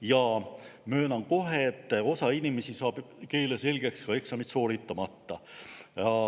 Ja möönan kohe, et osa inimesi saab keele selgeks eksamit sooritamata.